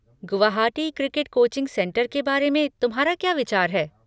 Guwahati cricket coaching centre के बारे में तुम्हारा क्या विचार हैं?